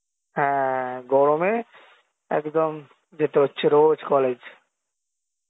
হ্যাঁ গরমে একদম যেতে হচ্ছে রোজ college